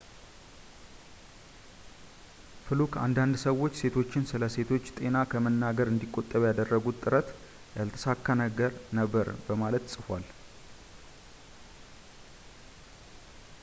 ፍሉክ አንዳንድ ሰዎች ሴቶችን ስለ ሴቶች ጤና ከመናገር እንዲቆጠብ ያደረጉት ጥረት ያልተሳካ ነበር በማለት ጽፏል